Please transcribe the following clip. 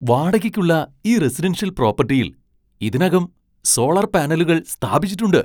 വാടകയ്ക്കുള്ള ഈ റെസിഡൻഷ്യൽ പ്രോപ്പട്ടിയിൽ ഇതിനകം സോളാർ പാനലുകൾ സ്ഥാപിച്ചിട്ടുണ്ട്.